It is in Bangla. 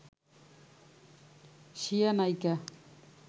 স্বীয়া নায়িকা